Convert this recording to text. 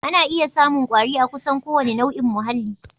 Ana iya samun kwari a kusan kowane nau'in muhalli